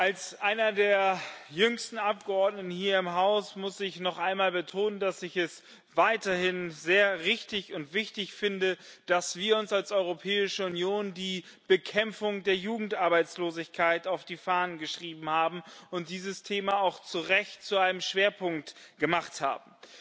Als einer der jüngsten Abgeordneten hier im Haus muss ich noch einmal betonen, dass ich es weiterhin sehr richtig und wichtig finde, dass wir uns als Europäische Union die Bekämpfung der Jugendarbeitslosigkeit auf die Fahnen geschrieben haben und dieses Thema auch zu Recht zu einem Schwerpunkt gemacht haben.